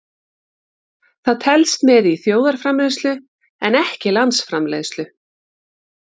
Það telst með í þjóðarframleiðslu en ekki landsframleiðslu.